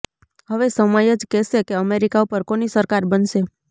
હવે સમય જ કેસે કે અમેરિકા ઉપર કોની સરકાર બનશે